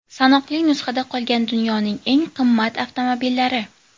Sanoqli nusxada qolgan dunyoning eng qimmat avtomobillari .